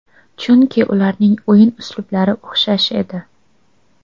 Chunki ularning o‘yin uslublari o‘xshash edi.